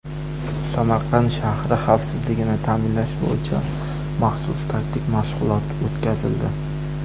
Samarqand shahri xavfsizligini ta’minlash bo‘yicha maxsus taktik mashg‘ulot o‘tkazildi.